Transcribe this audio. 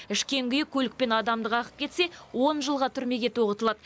ішкен күйі көлікпен адамды қағып кетсе он жылға түрмеге тоғытылады